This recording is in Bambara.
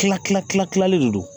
Kila kila kilalen de don